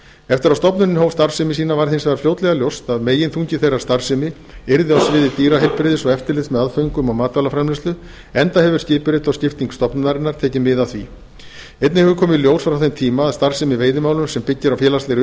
eftir að stofnunin hóf starfsemi sína varð hins vegar fljótlega ljóst að meginþungi þeirrar starfsemi yrði á sviði dýraheilbrigðis og eftirlits með aðföngum og matvælaframleiðslu enda hefur skipurit og skipting stofnunarinnar tekið mið af því einnig hefur komið í ljós frá þeim tíma að starfsemi í veiðimálum sem byggir á félagslegri